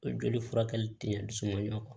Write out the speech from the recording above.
O joli furakɛli tɛ ɲɛ kɔ